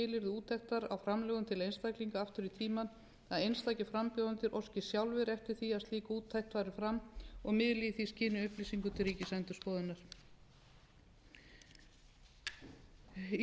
úttektar á framlögum til einstaklinga aftur í tímann að einstakir frambjóðendur óski sjálfir eftir því að slík úttekt fari fram og miðli í því skyni upplýsingum til ríkisendurskoðunar í